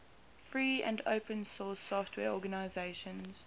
free and open source software organizations